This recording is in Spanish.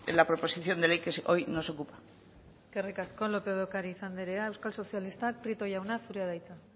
la proposición de ley que hoy nos ocupa eskerrik asko lópez de ocariz andrea euskal sozialistak prieto jauna zurea da hitza